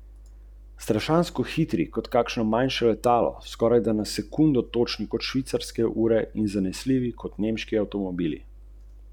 Na severu imamo alpske grebene.